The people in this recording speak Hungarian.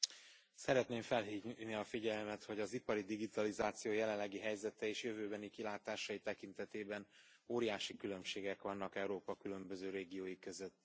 Elnök Úr, szeretném felhívni a figyelmet, hogy az ipari digitalizáció jelenlegi helyzete és jövőbeni kilátásai tekintetében óriási különbségek vannak Európa különböző régiói között.